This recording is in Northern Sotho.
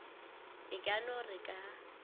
e ka no re ka